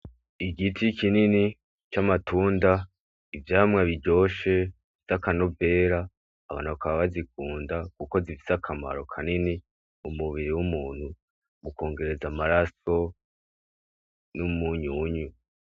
Igiti kinini c'amatunda, ivyama biryoshe vyakanovera, abantu bakaba bazikunda kuko zifise akamaro kanini mumubiri w'umuntu, ukongereza amaraso n'umunyunyu.